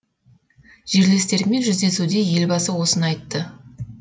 жерлестерімен жүздесуде елбасы осыны айтты